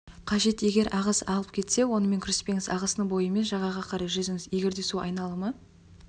қажет егер ағыс алып кетсе онымен күреспеңіз ағыстың бойымен жағаға қарай жүзіңіз егерде су айналымы